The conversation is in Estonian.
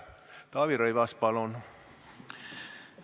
Taavi Rõivas, palun!